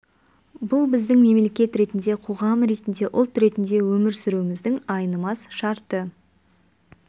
бұл біздің мемлекет ретінде қоғам ретінде ұлт ретінде өмір сүруіміздің айнымас шарты